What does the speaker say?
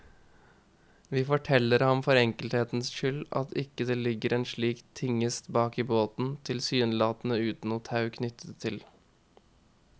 Vi forteller ham for enkelthets skyld ikke at det ligger en slik tingest bak i båten, tilsynelatende uten noe tau knyttet til.